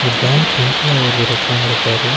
Bank employee ஒருத்தரு ஒக்காந்துருக்காரு. ‌